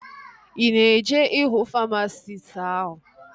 Ị na-eje ịhụ famasisti áhụ̀?